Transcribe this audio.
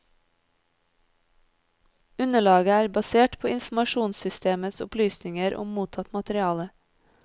Underlaget er basert på informasjonssystemets opplysninger om mottatt materiale.